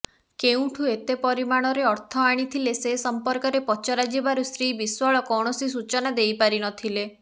କେଉଁଠୁ ଏତେ ପରିମାଣରେ ଅର୍ଥ ଆଣିଥିଲେ ସେ ସଂପର୍କରେ ପଚରାଯିବାରୁ ଶ୍ରୀ ବିଶ୍ବାଳ କୌଣସି ସୂଚନା ଦେଇପାରିନଥିଲେ